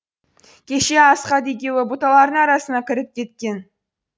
кеше асқат екеуі бұталардың арасына кіріп кеткен